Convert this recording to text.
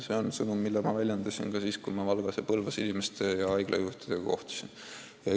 See on sõnum, mida ma rõhutasin ka siis, kui Valgas ja Põlvas haigla juhtide ja teiste inimestega kohtusin.